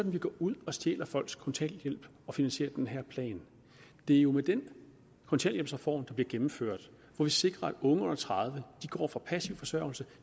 vi går ud og stjæler folks kontanthjælp at finansiere den her plan det er jo med den kontanthjælpsreform der bliver gennemført at vi sikrer at unge under tredive år går fra passiv forsørgelse